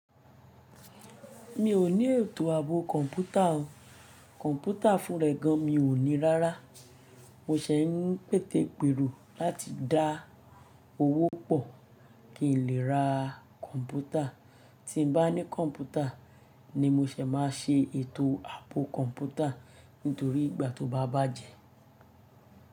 Mi ò ní ètò àbò kọ̀ǹpútà o. Kọ̀ǹpútà fún rẹ gan, mi ò ní rárá. Mo ṣẹ̀ ń pète pèrò láti dá owó pọ̀ kí n lè ra kọ̀ǹpútà. Tí n bá ní kọ̀ǹpútà ni mo ṣẹ̀ má a ṣe ètò àbò kọ̀ǹpútà nítorí ìgbà tó bá bàjé.